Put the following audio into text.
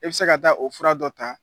E bɛ se ka taa o fura dɔ ta